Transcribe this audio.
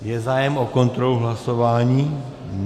Je zájem o kontrolu hlasování?